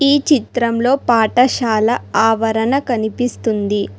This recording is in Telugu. ఈ చిత్రంలో పాఠశాల ఆవరణ కనిపిస్తుంది.